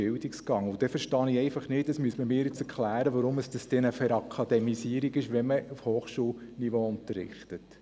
Nun verstehe ich nicht, inwiefern es sich um eine «Verakademisierung» handelt, wenn man auf Hochschulniveau unterrichtet.